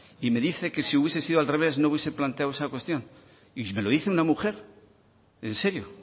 y me dice que si hubiese sido al revés no hubiese planteado esa cuestión y me lo dice una mujer en serio